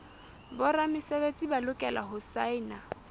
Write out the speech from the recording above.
boramesebetsi ba lokela ho saena